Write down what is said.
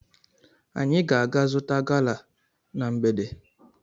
Anyị ga-aga zụta gala na mgbede.